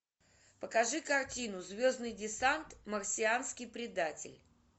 покажи картину звездный десант марсианский предатель